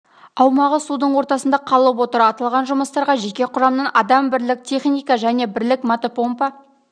аумағы судың ортасында қалып отыр аталған жұмыстарға жеке құрамнан адам бірлік техника және бірлік мотопомпа